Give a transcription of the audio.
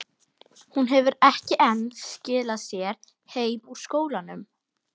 Hún hefur ekki enn skilað sér heim úr skólanum.